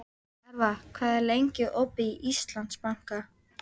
Hervar, hvað er lengi opið í Íslandsbanka?